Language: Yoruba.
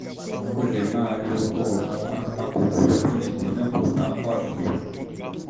o lè má lo lè má lo oògùn apakòkòrò bí egbò náà kò bá pọ̀ jù